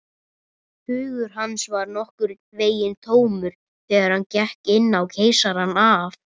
Hugur hans var nokkurn veginn tómur, þegar hann gekk inn á Keisarann af